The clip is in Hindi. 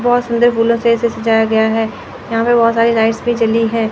बहोत सुंदर फूलों से इसे सजाया गया है यहां पे बहोत सारी लाइट्स भी जाली हैं।